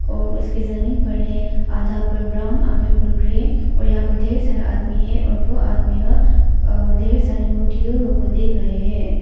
और उसके जमीन पर है आधा पर ब्राउन आधा पर ग्रे और यहां पर ढेर सारा आदमी है और वो आदमीया ढेर सारी मूर्तियों को देख रहे हैं।